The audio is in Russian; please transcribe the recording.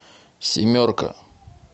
семерка